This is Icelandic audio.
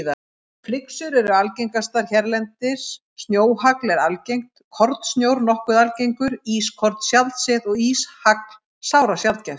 Flyksur eru algengastar hérlendis, snjóhagl er algengt, kornsnjór nokkuð algengur, ískorn sjaldséð og íshagl sárasjaldgæft.